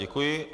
Děkuji.